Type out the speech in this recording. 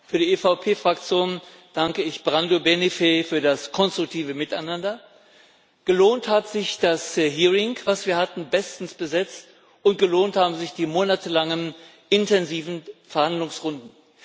Für die EVP Fraktion danke ich Brando Benifei für das konstruktive Miteinander. Gelohnt hat sich das Hearing, das wir hatten bestens besetzt und gelohnt haben sich die monatelangen, intensiven Verhandlungsrunden.